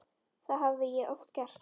Það hafði ég oft gert.